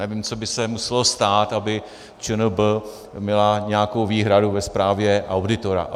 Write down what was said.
Nevím, co by se muselo stát, aby ČNB měla nějakou výhradu ve zprávě auditora.